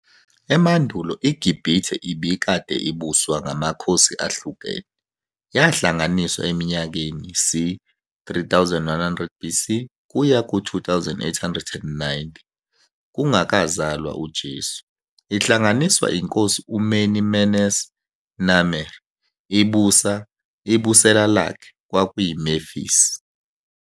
Emandulo iGibhithe ibikade ibuswa ngamakhosi ahlukene, yahlanganiswa eminyakeni c. 3100 BC -2890, kungakazalwa uJesu, ihlanganiswa inkosi uMeni Menes Narmer, Ibusela lakhe kwakuyi Memphis.